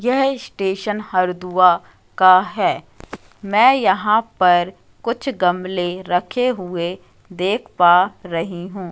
यह स्टेशन हरदुआ का है मैं यहां पर कुछ गमले रखे हुए देख पा रही हूं।